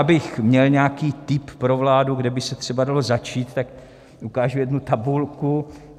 Abych měl nějaký tip pro vládu, kde by se třeba dalo začít, tak ukážu jednu tabulku.